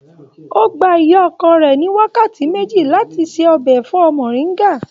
O gbà ìyá ọkọ rẹ ní wákàtí méjì láti ṣe ọbẹ ẹfọ moringa.